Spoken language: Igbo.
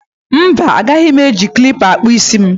Mba, agaghị m eji klippa kpụọ isi m